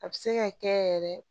A bɛ se ka kɛ yɛrɛ